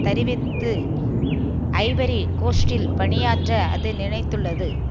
தருவித்து ivory கோஸ்ட்டில் பணியாற்ற அது நினைத்துள்ளது